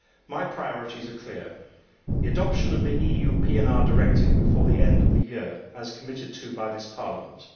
My priorities are clear the adoption of the EU PNR Directive before the end of the year, as committed to by this Parliament.